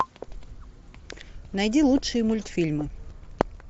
найди лучшие мультфильмы